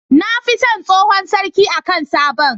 Nafi son tsohon sarki akan sabon